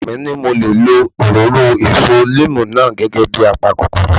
Ọkọ mi ní mo lè lo òróró èso níìmù náà gẹ́gẹ́ bíi a pa kòkòrò